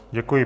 Děkuji.